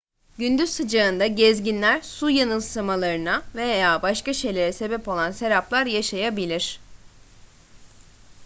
gündüz sıcağında gezginler su yanılsamalarına veya başka şeylere sebep olan seraplar yaşayabilir